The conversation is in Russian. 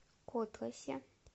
котласе